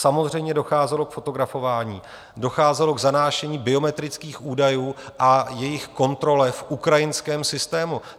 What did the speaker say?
Samozřejmě docházelo k fotografování, docházelo k zanášení biometrických údajů a jejich kontrole v ukrajinském systému.